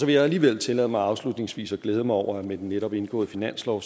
jeg alligevel tillade mig afslutningsvis at glæde mig over at der med den netop indgåede finanslov